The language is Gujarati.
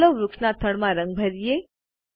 ચાલો વૃક્ષના થડમાં રંગ ભરીયે